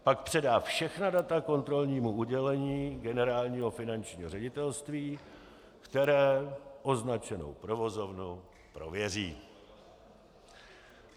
Pak předá všechna data kontrolnímu oddělení Generálního finančního ředitelství, které označenou provozovnu prověří.